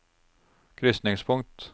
krysningspunkt